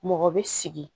Mɔgɔ bɛ sigi